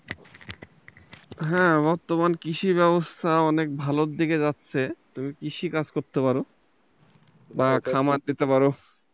হ্যাঁ আমারও তো মনে হয় কৃষি ব্যবস্থা অনেক ভালোর দিকে যাচ্ছে, তুমি কৃষি কাজ করতে পারো বা খামার দিতে পারো।